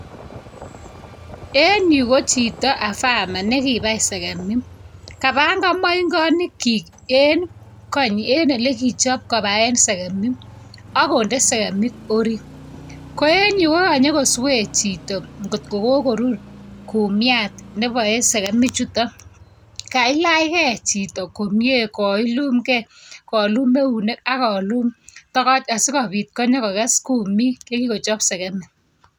En Yu ko Chito afamer nekibai segemik kabangan maingonik en olekichob kobaten segemik akonde segemik orit Koen Yu kokanyongoswe Chito kotko kokorur kumiat Nebae segemik chuton kailagei Chito komie kolum gei kolum neunek akolum togoch asikobit Kose kumik chekikochob segemik